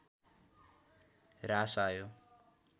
ह्रास आयो